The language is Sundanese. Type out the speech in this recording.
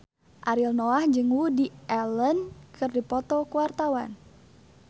Ariel Noah jeung Woody Allen keur dipoto ku wartawan